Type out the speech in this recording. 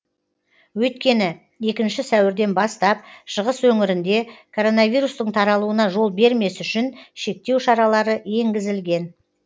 өйткені екінші сәуірден бастап шығыс өңірінде короновирустың таралуына жол бермес үшін шектеу шаралары еңгізілген